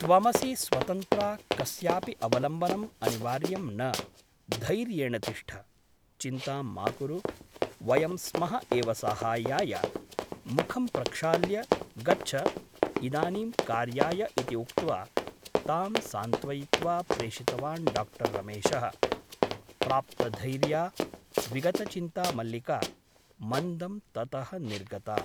त्वमसि स्वतन्त्रा कस्यापि अवलम्बनम् अनिवार्यं न । धैर्येण तिष्ठ । चिन्तां मा कुरु । वयं स्मः एव साहाय्याय । मुखं प्रक्षाल्य गच्छ इदानीं कार्याय इति उक्त्वा तां सान्त्वयित्वा प्रेषितवान् डाक्टर् रमेशः । प्राप्तधैर्या विगतचिन्ता मल्लिका मन्दं ततः निर्गता ।